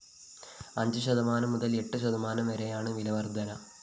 അഞ്ച് ശതമാനം മുതല്‍ എട്ട് ശതമാനം വരെയാണ് വില വര്‍ധന